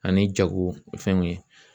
Ani jagofɛnw ye